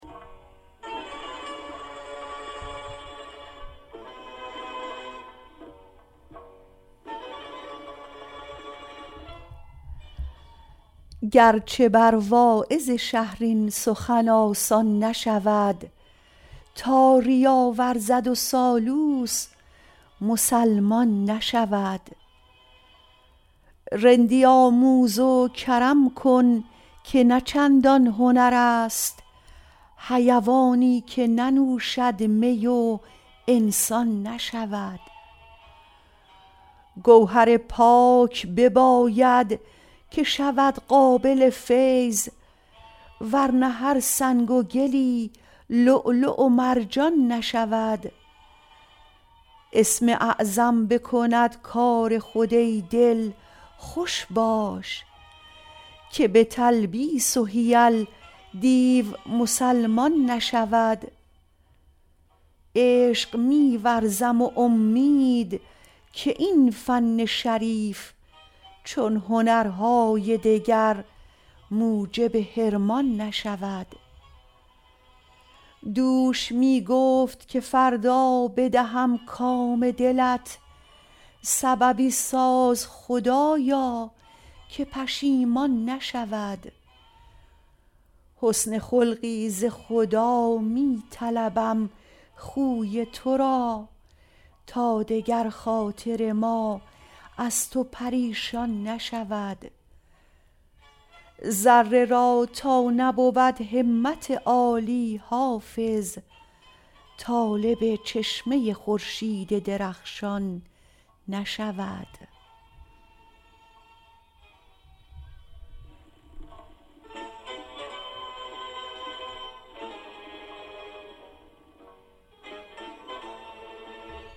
گر چه بر واعظ شهر این سخن آسان نشود تا ریا ورزد و سالوس مسلمان نشود رندی آموز و کرم کن که نه چندان هنر است حیوانی که ننوشد می و انسان نشود گوهر پاک بباید که شود قابل فیض ور نه هر سنگ و گلی لؤلؤ و مرجان نشود اسم اعظم بکند کار خود ای دل خوش باش که به تلبیس و حیل دیو مسلمان نشود عشق می ورزم و امید که این فن شریف چون هنرهای دگر موجب حرمان نشود دوش می گفت که فردا بدهم کام دلت سببی ساز خدایا که پشیمان نشود حسن خلقی ز خدا می طلبم خوی تو را تا دگر خاطر ما از تو پریشان نشود ذره را تا نبود همت عالی حافظ طالب چشمه خورشید درخشان نشود